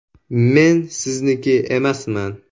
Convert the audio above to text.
Men sizniki emasman!